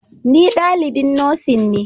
Ni dalibin Nursing ne